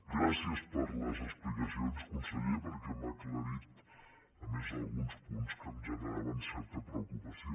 gràcies per les explicacions conseller perquè m’ha aclarit a més alguns punts que em generaven certa preocupació